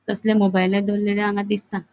तसले मोबाईला दोरलेले हांगा दिसता.